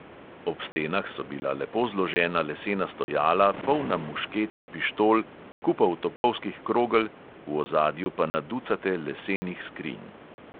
Ob stenah so bila lepo zložena lesena stojala, polna mušket in pištol, kupov topovskih krogel, v ozadju pa na ducate lesenih skrinj.